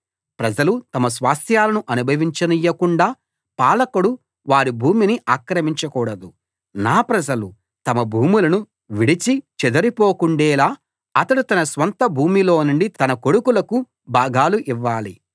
ప్రజలు తమ స్వాస్థ్యాలను అనుభవించనీయకుండా పాలకుడు వారి భూమిని ఆక్రమించకూడదు నా ప్రజలు తమ భూములను విడిచి చెదరిపోకుండేలా అతడు తన స్వంత భూమిలోనుండి తన కొడుకులకు భాగాలు ఇవ్వాలి